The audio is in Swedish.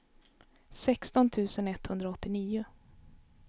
sexton tusen etthundraåttionio